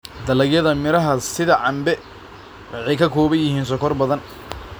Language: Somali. Dalagyada miraha sida cambe waxay ka kooban yihiin sonkor badan.